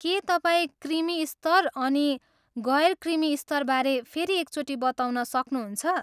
के तपाईँ क्रिमी स्तर अनि गैर क्रिमी स्तरबारे फेरि एकचोटि बताउन सक्नुहुन्छ?